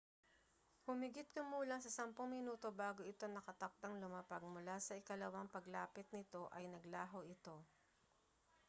humigit-kumulang sa sampung minuto bago ito nakatakdang lumapag mula sa ikalawang paglapit nito ay naglaho ito